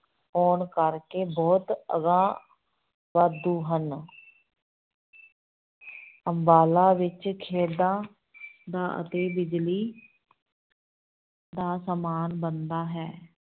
ਹੋਣ ਕਰਕੇ ਬਹੁਤ ਅਗਾਂਹ ਵਾਧੂ ਹਨ ਅੰਬਾਲਾ ਵਿੱਚ ਖੇਡਾਂ ਦਾ ਅਤੇ ਬਿਜ਼ਲੀ ਦਾ ਸਮਾਨ ਬਣਦਾ ਹੈ।